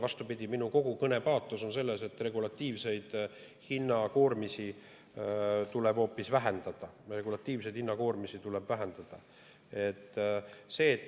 Vastupidi, minu kõne kogu paatos on selles, et regulatiivseid hinnakoormisi tuleb hoopis vähendada.